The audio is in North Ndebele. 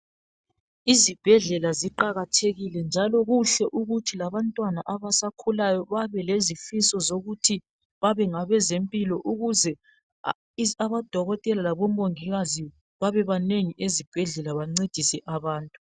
Izibhedlela ziqakathekile njalo kuhle ukuthi abantwana abaskahulayo babelezifiso zokuthi babe ngabezempilakahle ukuze odokotela labomongikazi babebanengi ezibhedlela bancedise abantu.